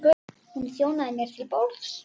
Hún þjónaði mér til borðs.